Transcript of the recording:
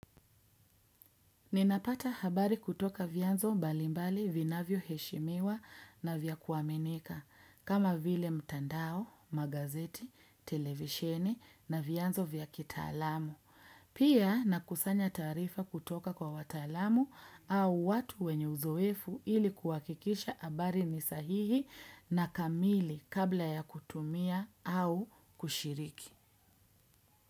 Ninapata habari kutoka vianzo mbalimbali vinavyo heshimiwa na vya kuamenika, kama vile mtandao, magazeti, televisheni na vianzo vyakitalamu. Pia nakusanya taarifa kutoka kwa watalamu au watu wenye uzoefu ili kuakikisha abari ni sahihi na kamili kabla ya kutumia au kushiriki.